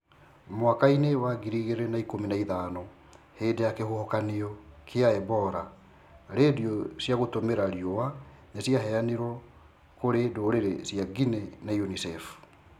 Mwaka-inĩ wa ngiri igĩrĩ na ikumi na ithano, hindĩ ya kĩhuhokanio kia ebola, radio cia gũtũmira riũa nĩ ciaheanirwo kũri ndũrĩrĩ cia Guinea ni UNICEF.